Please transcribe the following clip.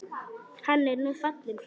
Hann er nú fallinn frá.